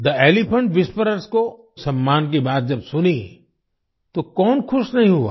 थे Elephant Whisperers को सम्मान की बात जब सुनी तो कौन खुश नहीं हुआ